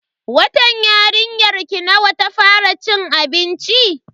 Watan yarinyarki nawa ta fara cin abinci?